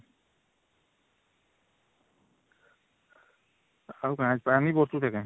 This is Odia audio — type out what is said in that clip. ଆଉ କଣ